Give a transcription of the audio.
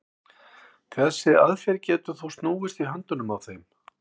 þessi aðferð getur þó snúist í höndunum á þeim